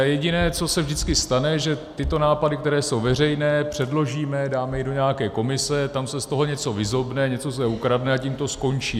A jediné, co se vždycky stane, že tyto nápady, které jsou veřejné, předložíme, dáme je do nějaké komise, tam se z toho něco vyzobne, něco se ukradne, a tím to skončí.